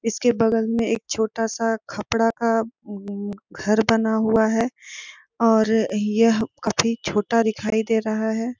इसके बगल में एक छोटा सा खपड़ा का अअम घर बना हुआ है और यह काफी छोटा दिखाई दे रहा है ।